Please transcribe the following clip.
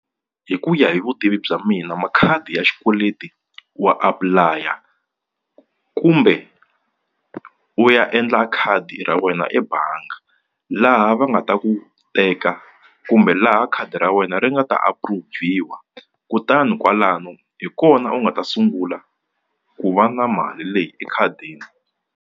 Hi ku ya hi vutivi bya mina makhadi ya xikweleti wa apply-a kumbe u ya endla khadi ra wena ebangi laha va nga ta ku teka kumbe laha khadi ra wena ri nga ta approve-wa kutani kwalano hi kona u nga ta sungula ku va na mali leyi ekhadini.